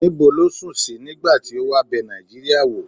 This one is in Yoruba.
ni bo lo sun si nigba ti o wa be nijiiria wo?